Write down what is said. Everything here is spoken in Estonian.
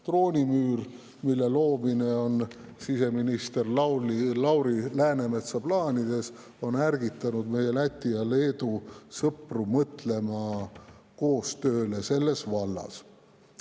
Droonimüür, mille loomine on siseminister Lauri Läänemetsa plaanides, on ärgitanud meie Läti ja Leedu sõpru mõtlema koostööle selles vallas.